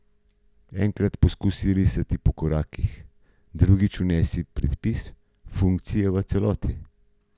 Enkrat poskusi risati po korakih, drugič vnesi predpis funkcije v celoti.